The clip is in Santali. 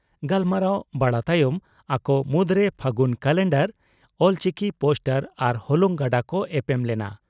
ᱜᱟᱞᱢᱟᱨᱟᱣ ᱵᱟᱲᱟ ᱛᱟᱭᱚᱢ ᱟᱠᱚ ᱢᱩᱫᱽᱨᱮ ᱯᱷᱟᱹᱜᱩᱱ ᱠᱟᱞᱮᱱᱰᱟᱨ, ᱚᱞᱪᱤᱠᱤ ᱯᱳᱥᱴᱟᱨ ᱟᱨ ᱦᱚᱞᱚᱝ ᱜᱟᱰᱟ ᱠᱚ ᱮᱯᱮᱢ ᱞᱮᱱᱟ ᱾